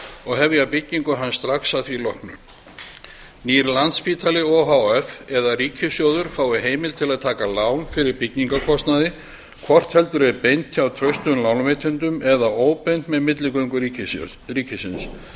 og hefja byggingu hans strax að því loknu nýr landspítali o h f eða ríkissjóður fái heimild til að taka lán fyrir byggingarkostnaði hvort heldur er beint hjá traustum lánveitendum eða óbeint með milligöngu ríkisins